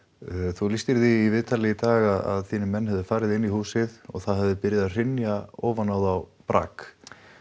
þú lýstir því í viðtali í dag að þínir menn hefðu farið inn í húsið og það hefði byrjað að hrynja ofan á þá brak